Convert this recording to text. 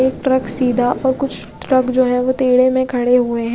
एक ट्रक सीधा और कुछ ट्रक जो है ओ तेडे में खड़े हुए है।